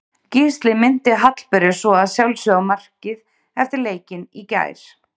Gísli minnti Hallberu svo að sjálfsögðu á markið eftir leikinn í gær.